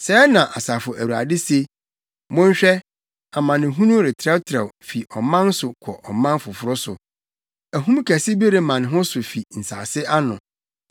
Sɛɛ na Asafo Awurade se: “Monhwɛ! Amanehunu retrɛtrɛw fi ɔman so kɔ ɔman foforo so; ahum kɛse bi rema ne ho so afi nsase ano.”